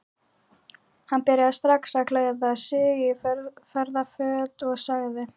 Hann byrjaði strax að klæða sig í ferðaföt og sagði